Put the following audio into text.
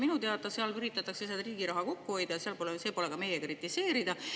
Minu teada seal üritatakse riigi raha kokku hoida ja see pole meie kritiseerida.